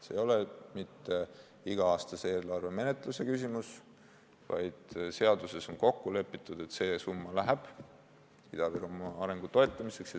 See ei ole mitte iga-aastase eelarve menetluse küsimus, vaid seaduses on kokku lepitud, et see summa läheb Ida-Virumaa arengu toetamiseks.